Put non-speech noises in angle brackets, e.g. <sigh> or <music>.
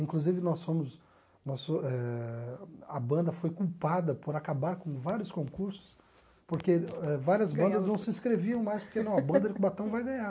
Inclusive, nós fomos nós eh a banda foi culpada por acabar com vários concursos, porque eh várias bandas não se inscreviam mais, porque não, <laughs> a banda de Cubatão vai ganhar.